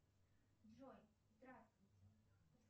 джой здравствуйте